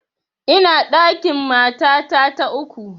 Ina ɗakin matata ta uku